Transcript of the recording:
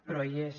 però hi és